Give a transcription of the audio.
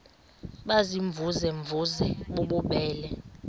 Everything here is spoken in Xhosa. baziimvuze mvuze bububele